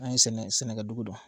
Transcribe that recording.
An ye sɛnɛ sɛnɛkɛ dugu dɔn